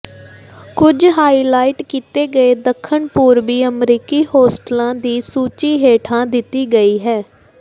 ਕੁਝ ਹਾਈਲਾਈਟ ਕੀਤੇ ਗਏ ਦੱਖਣ ਪੂਰਬੀ ਅਮਰੀਕੀ ਹੋਸਟਲਾਂ ਦੀ ਸੂਚੀ ਹੇਠਾਂ ਦਿੱਤੀ ਗਈ ਹੈ